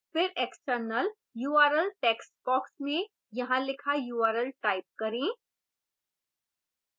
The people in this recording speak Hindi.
फिर external url textbox में यहाँ लिखा url type करें